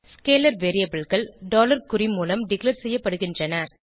scalar variableகள் குறி மூலம் டிக்ளேர் செய்யப்படுகின்றன